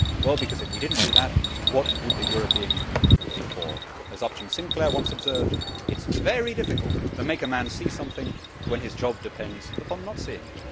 Because if we did not do that, what would the European Union be for? As Upton Sinclair once observed, it is very difficult to make a man see something when his job depends upon not seeing it.